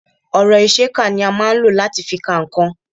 Ọ̀rọ̀ ìṣe kà ni a máa ń lò láti fi ka nǹkan